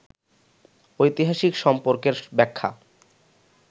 ঐতিহাসিক সম্পর্কের ব্যাখ্যা